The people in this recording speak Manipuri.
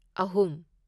ꯑꯍꯨꯝ